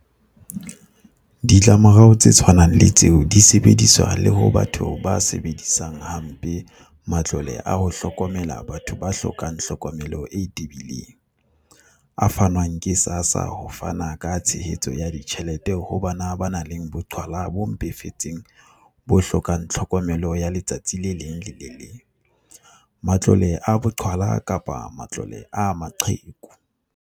Ditlamorao tse tshwanang le tseo di sebediswa le ho batho ba sebedisang ha mpe matlole a ho hlokomela batho ba hlokang hlokomelo e tebileng - a fanwang ke SASSA ho fana ka tshehetso ya ditjhelete ho bana ba nang le boqhwala bo mpefetseng bo hlokang tlhokomelo ya letsatsi le leng le le leng, matlole a boqhwala kapa matlole a maqheku.